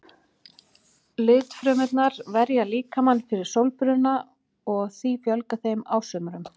Litfrumurnar verja líkamann fyrir sólbruna og því fjölgar þeim á sumrum.